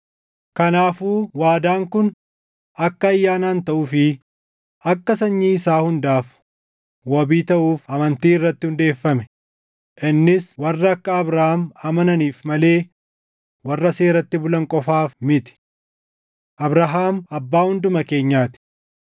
Kanaafuu waadaan kun akka ayyaanaan taʼuu fi akka sanyii isaa hundaaf wabii taʼuuf amantii irratti hundeeffame; innis warra akka Abrahaam amananiif malee warra seeratti bulan qofaaf miti; Abrahaam abbaa hunduma keenyaa ti.